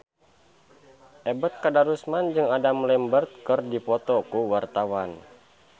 Ebet Kadarusman jeung Adam Lambert keur dipoto ku wartawan